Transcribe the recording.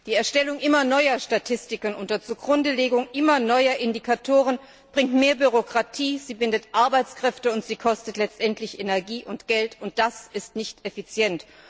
Die Erstellung immer neuer Statistiken unter Zugrundelegung immer neuer Indikatoren bringt mehr Bürokratie, bindet Arbeitskräfte und kostet letztendlich Energie und Geld, und das ist nicht effizient.